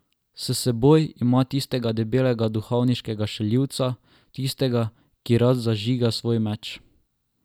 S seboj ima tistega debelega duhovniškega šaljivca, tistega, ki rad zažiga svoj meč.